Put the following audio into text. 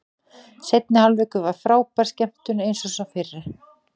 Seinni hálfleikur var frábær skemmtun eins og sá fyrri.